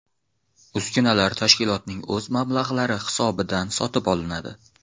Uskunalar tashkilotning o‘z mablag‘lari hisobidan sotib olinadi.